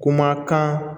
Kuma kan